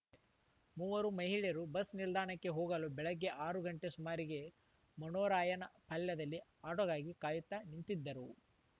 ಮೂವರು ಮಹಿಳೆಯರು ಬಸ್‌ ನಿಲ್ದಾಣಕ್ಕೆ ಹೋಗಲು ಬೆಳಗ್ಗೆ ಆರು ಗಂಟೆ ಸುಮಾರಿಗೆ ಮನೋರಾಯನಹಳದಲ್ಲಿ ಆಟೋಗಾಗಿ ಕಾಯುತ್ತಾ ನಿಂತಿದ್ದರು